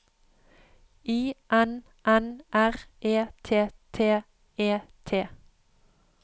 I N N R E T T E T